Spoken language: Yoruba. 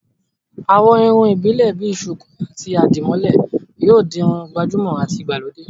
àwọn irun ìbílè bi sùkú àti àdìmólẹ̀ yóò di Irun gbàjúmọ̀ àti ìgbàlódé